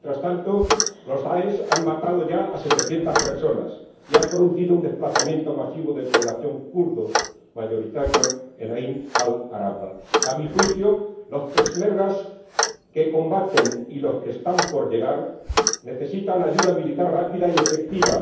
Mientras tanto, el DAESH ha matado ya a setecientas personas y ha producido un desplazamiento masivo de población kurda mayoritaria en Ain al Arab. A mi juicio, los peshmergas que combaten y los que están por llegar necesitan ayuda militar rápida y efectiva.